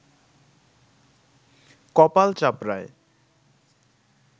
কপাল চাপড়ায়